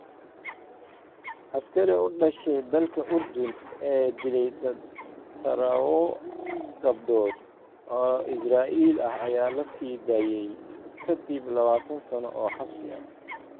Askarigii u dhashay dalka Urdun ee dilay tadhawo gabdhood oo Israa’iili ah ayaa la sii daayay ka dib lawatan sano oo xabsi ah